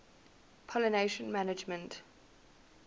pollination management